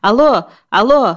Alo, alo!